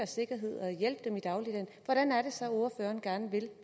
sikkerhed og hjælpe dem i dagligdagen hvordan er det så ordføreren gerne vil